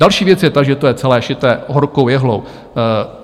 Další věc je ta, že to je celé širé horkou jehlou.